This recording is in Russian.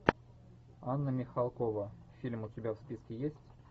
анна михалкова фильм у тебя в списке есть